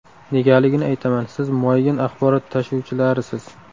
Negaligini aytaman: siz muayyan axborot tashuvchilarisiz.